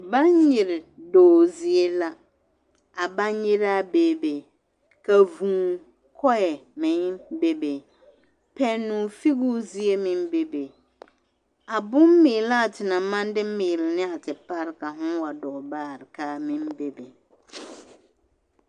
Baŋgyere dɔɔ zie la, a baŋgyeraa beebe, ka vūū-kɔɛ meŋ bebe, pɛnnoo figiruu zie meŋ beebe, a bommeelaa te naŋ maŋ de meele ne a te pare ka hõõ wa dɔɔ baare k'a meŋ bebe.